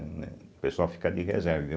Né O pessoal fica de reserva e eu.